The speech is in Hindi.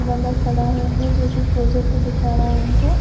बंदा खड़ा है इनमें जो कुछ प्रोजेक्ट दिखा रहा है इनको